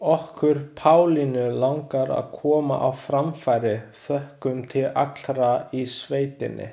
Okkur Pálínu langar að koma á framfæri þökkum til allra í sveitinni.